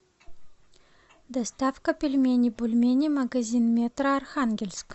доставка пельменей бульмени магазин метро архангельск